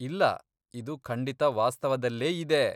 ಇಲ್ಲ, ಇದು ಖಂಡಿತ ವಾಸ್ತವದಲ್ಲೇಯಿದೆ.